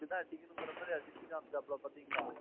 இப்படித் தான் அடிக்கணும்ற மாதிரி அடிச்சு காமிச்சாப்ல பாத்தீங்களா?